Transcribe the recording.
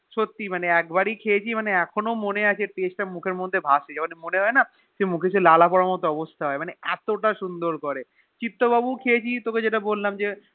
সত্যি মানে একবারই খেয়েছি এখনো মনেআছে Taste তা মুখের মধ্যে ভাসে মনে হয়েন সেই মুখ সেই লালা পড়ার মতো অবস্থা হয়ে এত তা সুন্দর ওরে চিত্তবাবু ও খেয়েছি তোর তোকে যেটা বলাম যে